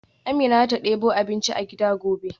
Amina zata debo abinci a gida gobe.